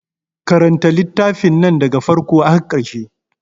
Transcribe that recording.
Karanta littafin nan da ga farko har ƙarshe.